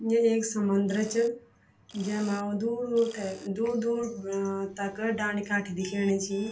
यु एक समुन्द्र च जैमा दूर दूर थे दूर दूर अ तक डांडी कांठी दिखेणी छी।